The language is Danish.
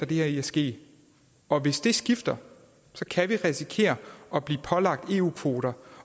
det her i at ske og hvis det skifter kan vi risikere at blive pålagt eu kvoter